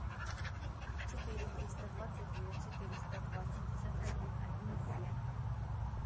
четыре триста двадцать девять четыреста два семьдесят один один семь